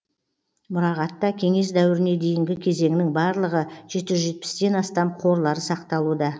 мұрағатта кеңес дәуіріне дейінгі кезеңнің барлығы жеті жүз жетпістен астам қорлары сақталуда